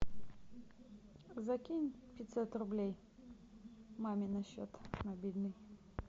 закинь пятьсот рублей маме на счет мобильный